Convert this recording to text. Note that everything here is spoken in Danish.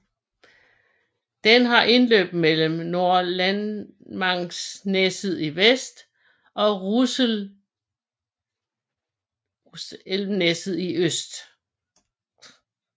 Den har indløb mellem Nordlenangsnesset i vest og Russelvnesset i øst